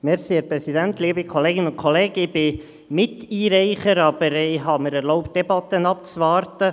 Ich bin Miteinreicher, habe mir aber erlaubt, die Debatte abzuwarten.